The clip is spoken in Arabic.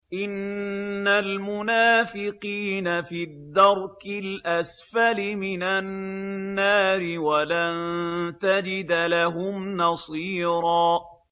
إِنَّ الْمُنَافِقِينَ فِي الدَّرْكِ الْأَسْفَلِ مِنَ النَّارِ وَلَن تَجِدَ لَهُمْ نَصِيرًا